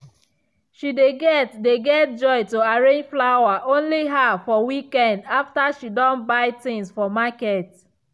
she dey get dey get joy to arrange flower only her for weekend after she don buy things for market.